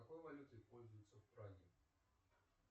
какой валютой пользуются в праге